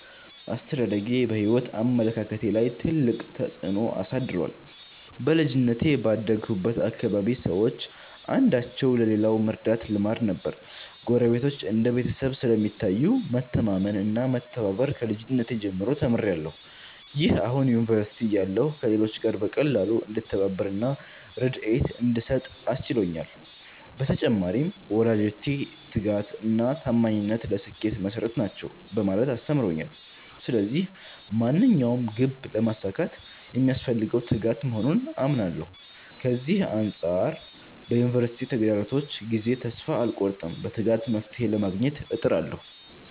አስተዳደጌ በሕይወት አመለካከቴ ላይ ትልቅ ተጽዕኖ አሳድሯል። በልጅነቴ ባደግሁበት አካባቢ ሰዎች አንዳቸው ለሌላው መርዳት ልማድ ነበር። ጎረቤቶች እንደ ቤተሰብ ስለሚታዩ፣ መተማመን እና መተባበር ከልጅነቴ ጀምሮ ተምሬያለሁ። ይህ አሁን ዩኒቨርሲቲ እያለሁ ከሌሎች ጋር በቀላሉ እንድተባበር እና ርድኤት እንድሰጥ አስችሎኛል። በተጨማሪም፣ ወላጆቼ 'ትጋት እና ታማኝነት ለስኬት መሠረት ናቸው' በማለት አስተምረውኛል። ስለዚህ ማንኛውንም ግብ ለማሳካት የሚያስፈልገው ትጋት መሆኑን አምናለሁ። ከዚህ አንጻር በዩኒቨርሲቲ ተግዳሮቶች ጊዜ ተስፋ አልቆርጥም፤ በትጋት መፍትሔ ለማግኘት እጥራለሁ።